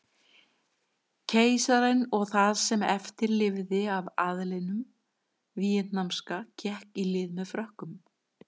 Keisarinn og það sem eftir lifði af aðlinum víetnamska gekk í lið með Frökkum.